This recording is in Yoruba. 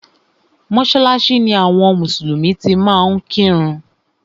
Mọ́sálásí ni àwọn mùsùlùmí ti máa ń kírun.